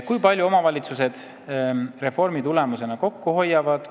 Kui palju omavalitsused reformi tulemusena kokku hoiavad?